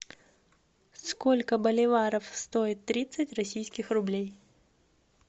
сколько боливаров стоит тридцать российских рублей